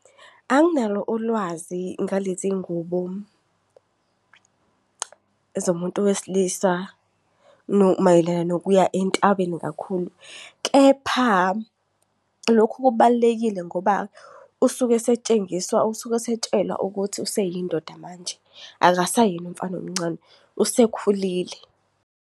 Anginalo ulwazi ngalezi ngubo zomuntu wesilisa mayelana nokuya entabeni kakhulu. Kepha lokhu kubalulekile ngoba usuke esetshengiswa, usuke esetshelwa ukuthi useyindoda manje akasayena umfana omncane, usekhulile.